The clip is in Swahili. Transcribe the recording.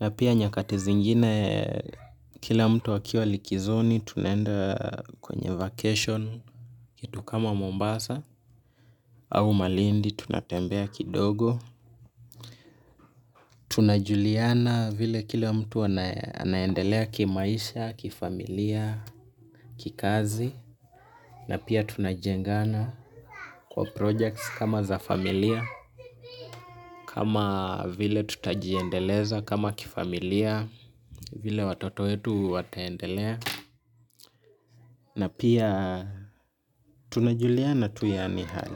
na pia nyakati zingine kila mtu akiwa likizoni tunaenda kwenye vacation kitu kama Mombasa au malindi tunatembea kidogo. Tunajuliana vile kila mtu anaendelea kimaisha, kifamilia, kikazi na pia tunajengana kwa projects kama za familia kama vile tutajiendeleza, kama kifamilia vile watoto wetu wataendelea na pia tunajuliana tu yani hali.